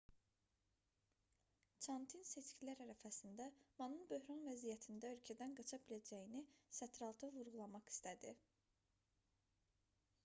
çantin seçkilər ərəfəsində manın böhran vəziyyətində ölkədən qaça biləcəyini sətiraltı vurğulamaq istədi